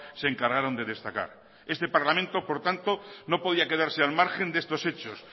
se encargaron de destacar este parlamento por tanto no podía quedarse al margen de estos hechos